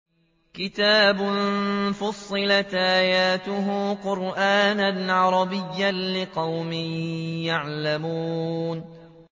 كِتَابٌ فُصِّلَتْ آيَاتُهُ قُرْآنًا عَرَبِيًّا لِّقَوْمٍ يَعْلَمُونَ